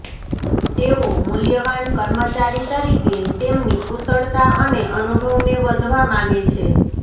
તેઓ મૂલ્યવાન કર્મચારી તરીકે તેમની કુશળતા અને અનુભવને વધવા માગે છે